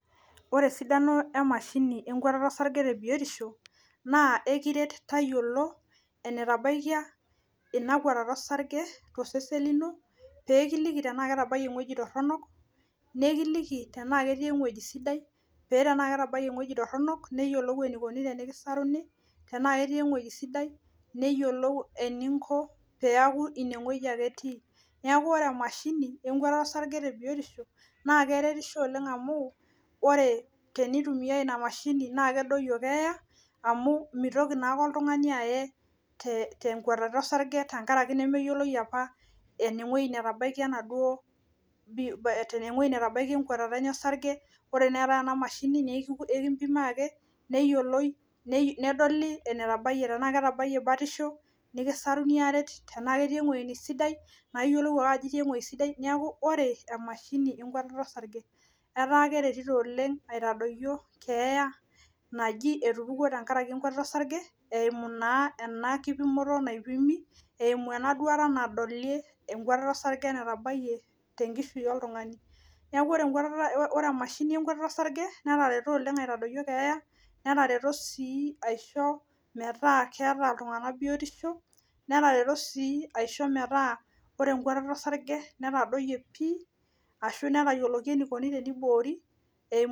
Ore esidano emashini enkuatata orsarge temashini naa ekiret tayiolo enetabaikia ina kwatata orsarge tosesen lino tenaa ketabayie ewueji toronok neekili tenaa ketii euweji sidai pee tenaa ketabayie euweji toronok nikiliki tenaa ketabayie ewueji sidai neyiolou eninko tenaa inewueji ake etii neeku ore emashini orsarge tebiosho naa keretisho oleng amu ore teniyumiyai ina mashini naa kedoyio keeya amu meitoki naake iltung'ani aye tenkuatata orsarge tenkaraki nemeyioloi apa enewueji netabaikia enaduo ewueji netabaikia enkuatata enye orsarge ore naa eetai ena mashini naa ekimpimai ake neyioloi nedoli enetabayie tenaa ketabayie batisho nikisaruni aaret tenaa ketii eng'uei sidai naa iyiolou ake ajo itii eng'uei sidai neeku ore emashini enkuatata orsarge etaa keretito oleng aitadoyio keeya naji etupuo tenkaraki enkwatata orsarge tenkaraki enakipimoto naipimi eemu enaduata nadoli enkuatata orsarge natabayie tenkishui oltung'ani neeku ore emashini enkuatata orsarge netareto aoibooyo keeya netareto sii aishoo metaa keeta iltung'anak biotisho netareto sii aisho metaa ore enkuatata orsarge netadoyie pi ashu netayioloki enaikoni teneiboori .